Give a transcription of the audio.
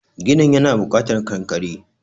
ginin yana bukatar kankare